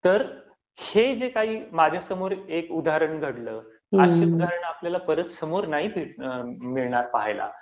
तर हे जे काही माझ्या समोर एक उदाहरण घडलं, अशी उदाहरणं आपल्याला परत समोर नाही मिळणार पाहायला.